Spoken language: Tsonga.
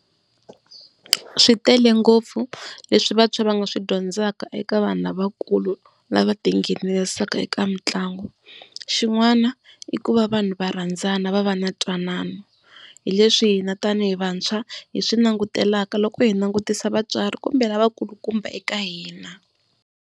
Swi tele ngopfu leswi vantshwa va nga swi dyondzaka eka vanhu lavakulu lava tinghenisaka eka mitlangu. Xin'wana i ku va vanhu va rhandzana va va na ntwanano hi leswi hina tani hi vantshwa hi swi langutelaka loko hi langutisa vatswari kumbe lava nkulukumba eka hina.